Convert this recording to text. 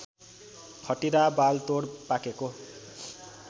खटिरा बालतोड पाकेको